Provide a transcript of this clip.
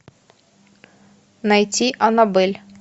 найти анабель